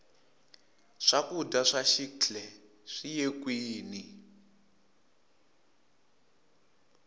swakudya swa xikhle swiye kwini